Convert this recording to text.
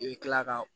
I bɛ kila ka